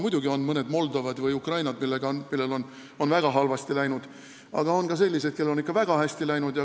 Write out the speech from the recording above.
Muidugi on mõned Moldovad või Ukrainad, kellel on väga halvasti läinud, aga on ka selliseid, kellel on ikka väga hästi läinud.